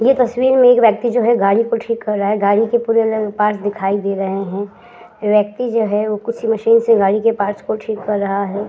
ये तस्वीर में एक व्यक्ति जो है गाड़ी को ठीक कर रहा है। गाड़ी के पूरे ल पार्ट्स दिखाई दे रहे हैं। व्यक्ति जो है वो कुछ मशीन से गाड़ी के पार्ट्स को ठीक कर रहा है।